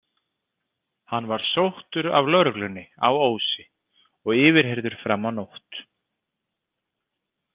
Hann var sóttur af lögreglunni á Ósi og yfirheyrður fram á nótt.